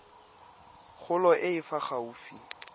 kgolo e e fa gaufi